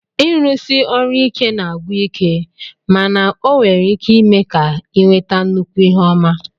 Ịrụsi ọrụ ike na-agwụ ike mana ọ nwere ike ime ka ị nweta nnukwu ihe ọma